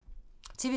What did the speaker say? TV 2